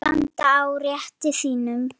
Standa á rétti sínum?